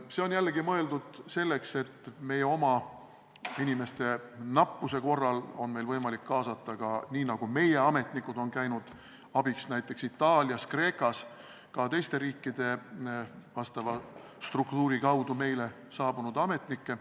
See on jällegi mõeldud selleks, et meie oma inimeste nappuse korral oleks meil võimalik kaasata nii, nagu meie ametnikud on käinud abiks näiteks Itaalias ja Kreekas, ka teiste riikide asjaomase struktuuri kaudu meile saabunud ametnikke.